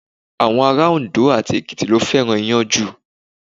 Àwọn ará Òndó àti Èkìtì ló fẹ́ràn Iyán jù.